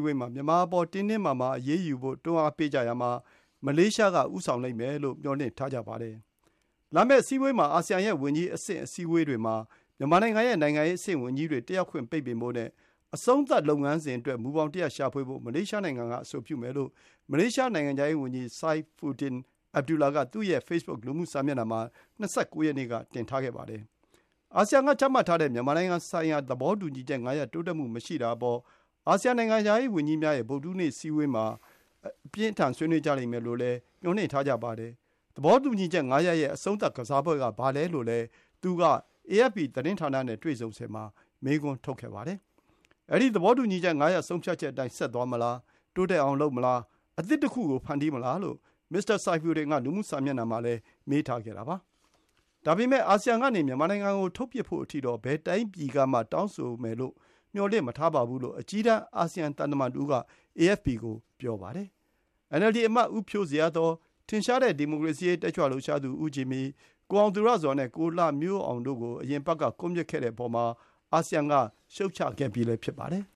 ဝေးမှာ မြန်မာအပေါ် တင်းတင်းမာမာအရေးယူဖို့ တွန်းကြရာမှာ မလေးရှားက ဦးဆောင်လိမ့်မယ်လို့ မျှော်လင့်ထားကြပါတယ်။ သြဂုတ်လ ၃ ရက်၊ ဗုဒ္ဓဟူးနေ့မှာစတင်မယ့် အာဆီယံရဲ့ဝန်ကြီးအဆင့် အစည်းအဝေးတွေမှာ မြန်မာနိုင်ငံရဲ့ နိုင်ငံရေးအဆင့်ဝန်ကြီးတွေ တက်ရောက်ခွင့် ပိတ်ပင်ဖို့နဲ့ အဆုံးသတ်လုပ်ငန်းစဉ်အတွက် မူဘောင်တရပ်ရှာဖွေဖို့ မလေးရှား နိုင်ငံက အဆိုပြုမယ်လို့ မလေးရှား နိုင်ငံခြားရေးဝန်ကြီး Saifuddin Abdullah က သူ့ရဲ့ ဖေ့ဘွတ် လူမှုစာမျက်နှာမှာ ၂၉ ရက်နေ့က တင်ထားခဲ့ပါတယ်။ အာဆီယံကချမှတ်ထားတဲ့ မြန်မာနိုင်ငံဆိုင်ရာ သဘောတူညီချက် ၅ ရပ် တိုးတက်မှုမရှိတာအပေါ် အာဆီယံ နိုင်ငံခြားရေးဝန်ကြီးများရဲ့ ဗုဒ္ဓဟူးနေ့ အစည်းအဝေးမှာ ဆွေးနွေးကြလိမ့်မယ်လို့ မျှော်လင့်ထားကြတာပါ။ သဘောတူညီချက် ၅ ရပ် ရဲ့ အဆုံးသတ် ကစားပွဲကဘာလဲလို့လည်း သူက AFP သတင်းဌာနနဲ့တွေ့ဆုံစဉ်မှာ မေးခွန်းထုတ်ခဲ့ပါတယ်။ အဲဒီ သဘောတူညီချက် ၅ ရပ် ဆုံးဖြတ်ချက်အတိုင်း ဆက်သွားမလား။ တိုးတက်အောင်လုပ်မလား။ အသစ်တခုကို ဖန်တီးမလားလို့ မစ္စတာ Saifuddin က လူမှု စာမျက်နှာမှာလည်း မေးထားခဲ့တာပါ။ ဒါပေမယ့် အာဆီယံကနေ မြန်မာနိုင်ငံကိုထုတ်ပစ်ဖို့အထိတော့ ဘယ်တိုင်းပြည် ကမှ တောင်းဆိုမယ်လို့ မျှော်လင့်မထားပါဘူးလို့ အကြီးတန်း အာဆီယံသံတမန်တဦးက AFP ကို ပြောပါတယ်။ NLD အမတ် ဦးဖြိုးဇေယျာသော်၊ ထင်ရှားတဲ့ ဒီမိုကရေစီရေးတက်ကြွလှုပ်ရှားသူ ဦးဂျင်မီ၊ ကိုအောင်သူရဇော်နဲ့ ကိုလှမျိုးအောင်တို့ကို အရင်အပတ်က ကွပ်မျက်ခဲ့တဲ့အပေါ် အာဆီယံက ရှုတ်ချခဲ့ပြီး ဖြစ်ပါတယ်။